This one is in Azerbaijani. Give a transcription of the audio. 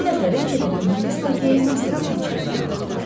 Bu dəfə Riçetin ingilis lakeyi Mastermeni içəri çağırdılar.